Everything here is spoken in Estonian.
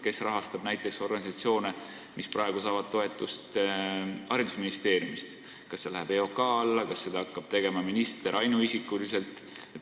Kes hakkab näiteks rahastama organisatsioone, mis saavad praegu toetust haridusministeeriumist – kas see läheb EOK alla või hakkab seda otsustama minister ainuisikuliselt?